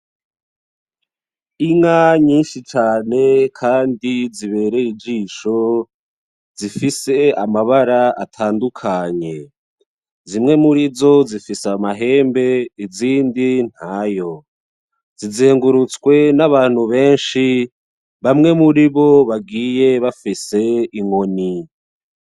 Inka nyinshi cane kandi zibereye ijisho zifise amabara atandukanye. Zimwe murizo zifise amahembe, izindi ntayo. Zizengurutswe n'abantu benshi, bamwe muri bo bagiye bafise inkoni.